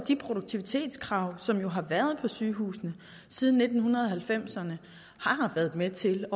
de produktivitetskrav som jo har været på sygehusene siden nitten halvfemserne har været med til